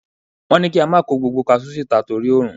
Wọ́n ní kí a má kó gbogbo kasú síta torí òrun.